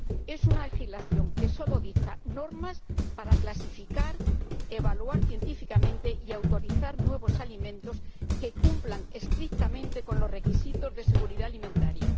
Es una legislación que solo dicta normas para clasificar, evaluar científicamente y autorizar nuevos alimentos que cumplan estrictamente los requisitos de seguridad alimentaria.